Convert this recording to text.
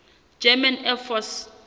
german air force